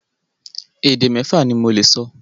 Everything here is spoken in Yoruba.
Èdè mẹ́fa ni mo lè sọ.